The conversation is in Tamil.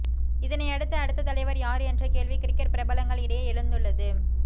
இதனையடுத்து அடுத்த தலைவர் யார் என்ற கேள்வி கிரிக்கெட் பிரபலங்கள் இடையே எழுந்துள்ளது